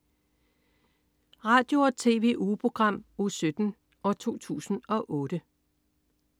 Radio- og TV-ugeprogram Uge 17, 2008